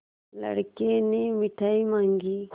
लड़के ने मिठाई मॉँगी